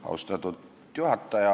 Austatud juhataja!